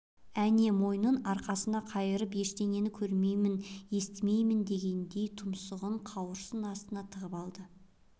әне мойнын арқасына қайырып ештеңені көрмейін естімейін дегендей тұмсығын қауырсын астына тығып алды